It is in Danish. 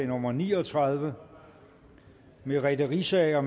nummer ni og tredive merete riisager